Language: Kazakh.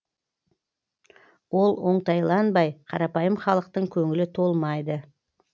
ол оңтайланбай қарапайым халықтың көңілі толмайды